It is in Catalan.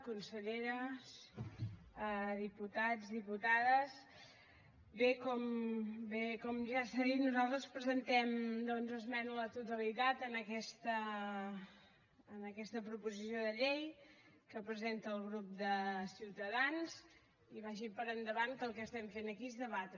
conselleres diputats diputades bé com ja s’ha dit nosaltres presentem doncs esmena a la totalitat a aquesta proposició de llei que presenta el grup de ciutadans i vagi per endavant que el que estem fent aquí és debatre